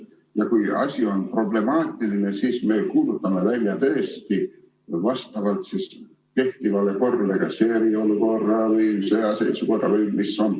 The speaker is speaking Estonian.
Ja kui asi on problemaatiline, siis me kuulutame välja tõesti vastavalt kehtivale korrale kas eriolukorra või sõjaseisukorra.